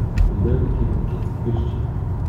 Pridevniki v mikenski grščini.